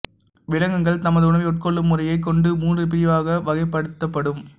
விலங்குகள் தமது உணவை உட்கொள்ளும் முறையைக் கொண்டு மூன்று பிரிவாக வகைப்படுத்தப்படும்